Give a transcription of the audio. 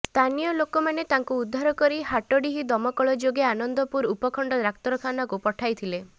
ସ୍ଥାନୀୟ ଲୋକମାନେ ତାଙ୍କୁ ଉଦ୍ଧାରକରି ହାଟଡିହି ଦମକଳ ଯୋଗେ ଆନନ୍ଦପୁର ଉପଖଣ୍ଡ ଡାକ୍ତରଖାନାକୁ ପଠାଇଥିଲେ